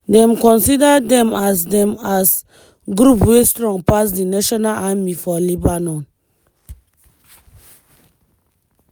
dem consider dem as dem as group wey strong pass di national army for lebanon.